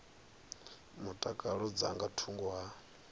mutakalo dza nga thungo ha